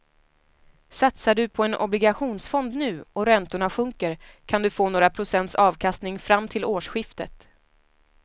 Satsar du på en obligationsfond nu och räntorna sjunker kan du få några procents avkastning fram till årsskiftet.